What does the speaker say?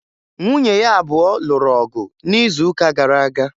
Nwunye ya abụọ lụrụ ọgụ n'izuụka gara aga